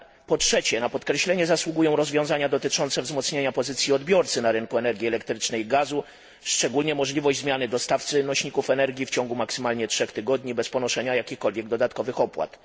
Po trzecie, na podkreślenie zasługują rozwiązania dotyczące wzmocnienia pozycji odbiorcy na rynku energii elektrycznej i gazu, szczególnie możliwość zmiany dostawcy nośników energii w ciągu maksymalnie trzech tygodni bez ponoszenia jakichkolwiek dodatkowych opłat.